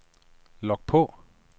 log på